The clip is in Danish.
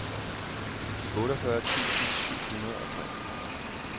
otteogfyrre tusind syv hundrede og tre